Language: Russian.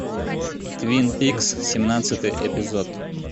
твин пикс семнадцатый эпизод